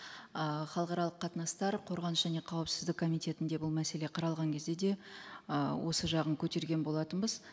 ы халықаралық қатынастар қорғаныс және қауіпсіздік комитетінде бұл мәселе қаралған кезде де ы осы жағын көтерген болатынбыз